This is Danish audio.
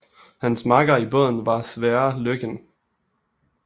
Hans makker i båden var Sverre Løken